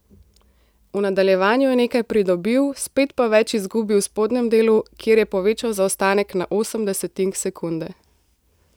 V nadaljevanju je nekaj pridobil, spet pa več izgubil v spodnjem delu, kjer je povečal zaostanek na osem desetink sekunde.